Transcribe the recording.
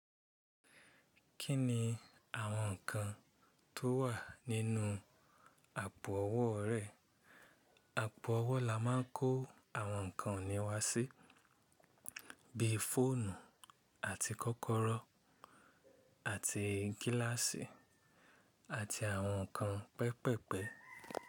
Kí ni àwọn ǹkan tó wà nínú àpò ọwọ́ rẹ? Àpò ọwọ́ la máa ń kó àwọn ǹkan ọ̀nìwá sí, bí i fóònù àti kọ́kọ́rọ́ àti gíláàsì àti àwọn ǹkan pẹpẹ̀pẹ̀.